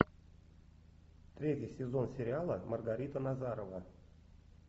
третий сезон сериала маргарита назарова